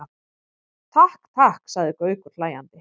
Takk, takk sagði Gaukur hlæjandi.